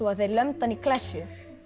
þeir lömdu hann í klessu